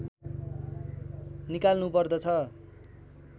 निकाल्नु पर्दछ